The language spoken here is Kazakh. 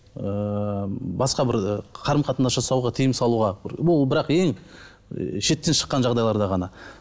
ыыы басқа бір қарым қатынас жасауға тыйым салуға ол бірақ ең і шектен шыққан жағдайларда ғана